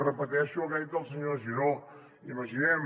repeteixo el que ha dit el senyor giró imaginem